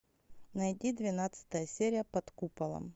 найди двенадцатая серия под куполом